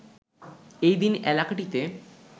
এই দিন এলাকাটিতে